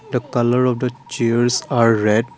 the colour of the chairs are red.